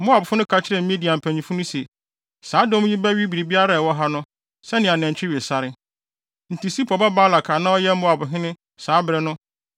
Moabfo no ka kyerɛɛ Midian mpanyimfo no se, “Saa dɔm yi bɛwe biribiara a ɛwɔ ha no, sɛnea nantwi we sare.” Enti Sipor ba Balak a na ɔyɛ Moabhene saa bere no